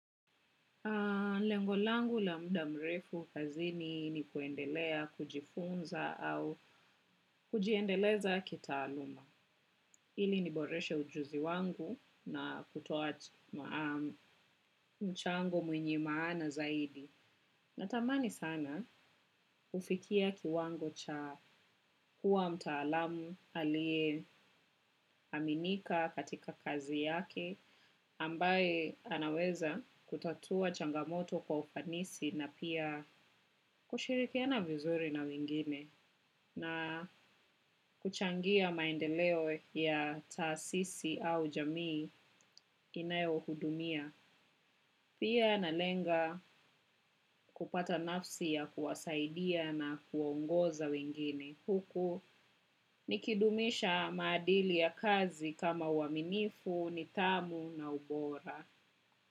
Lengo langu la muda mrefu kazini ni kuendelea kujifunza au kujiendeleza kitaaluma. Ili niboreshe ujuzi wangu na kutoaji mchango mwenye maana zaidi. Natamani sana kufikia kiwango cha kuwa mtaalamu aliyeaminika katika kazi yake. Ambaye anaweza kutatua changamoto kwa ufanisi na pia kushirikiana vizuri na wengine na kuchangia maendeleo ya taasisi au jamii inayohudumia. Pia nalenga kupata nafsi ya kuwasaidia na kuwaongoza wengine. Huku nikidumisha maadili ya kazi kama uaminifu, nidhamu na ubora.